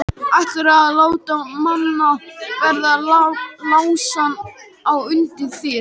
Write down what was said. Ætlarðu að láta Manna verða læsan á undan þér?